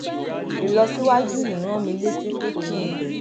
ìlọsíwájú yìí rán mi létí pé kí n